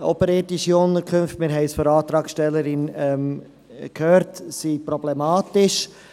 Oberirdische Unterkünfte – wir haben es von der Antragstellerin gehört – sind problematisch.